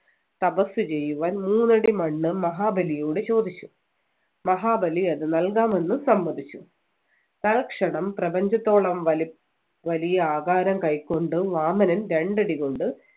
തപസ്സ് ചെയ്യുവാൻ മൂന്നടി മണ്ണ് മഹാബലിയോട് ചോദിച്ചു മഹാബലി അത് നൽകാമെന്ന് സമ്മതിച്ചു തൽക്ഷണം പ്രപഞ്ചത്തോളും വലിപ് വലിയ ആകാരം കൈക്കൊണ്ടു വാമനൻ രണ്ടടി കൊണ്ട്